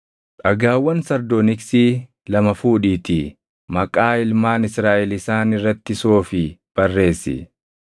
“Dhagaawwan sardooniksii lama fuudhiitii maqaa ilmaan Israaʼel isaan irratti soofii barreessi.